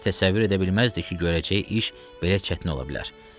O heç təsəvvür edə bilməzdi ki, görəcəyi iş belə çətin ola bilər.